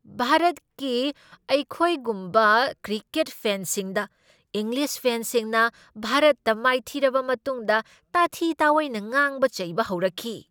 ꯚꯥꯔꯠꯀꯤ ꯑꯩꯈꯣꯏꯒꯨꯝꯕ ꯀ꯭ꯔꯤꯀꯦꯠ ꯐꯦꯟꯁꯤꯡꯗ ꯏꯪꯂꯤꯁ ꯐꯦꯟꯁꯤꯡꯅ ꯚꯥꯔꯠꯇ ꯃꯥꯏꯊꯤꯔꯕ ꯃꯇꯨꯡꯗ ꯇꯊꯤ ꯇꯑꯣꯏꯅ ꯉꯥꯡꯕ ꯆꯩꯕ ꯍꯧꯔꯛꯈꯤ꯫